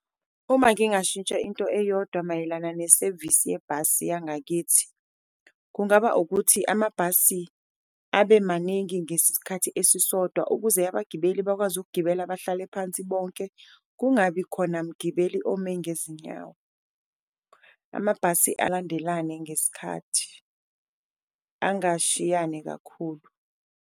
Uma ngingashintsha into eyodwa mayelana nesevisi yebhasi yangakithi kungaba ukuthi, amabhasi abe maningi ngesikhathi esisodwa ukuze abagibeli bakwazi ukugibela bahlale phansi bonke, kungabi khona mgibeli ome ngezinyawo. Amabhasi balandelane ngesikhathi angashiyani kakhulu.